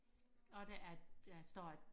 og der er et der står et